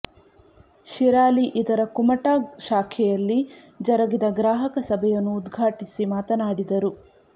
ಶಿರಾಲಿ ಇದರ ಕುಮಟಾ ಶಾಖೆಯಲ್ಲಿ ಜರಗಿದ ಗ್ರಾಹಕ ಸಭೆಯನ್ನು ಉದ್ಘಾಟಿಸಿ ಮಾತನಾಡಿದರು